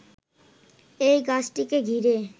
এই গাছটিকে ঘিরে